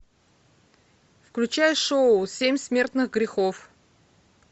включай шоу семь смертных грехов